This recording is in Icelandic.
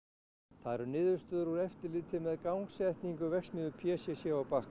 það eru niðurstöður úr eftirliti með gangsetningu verksmiðju p c c á Bakka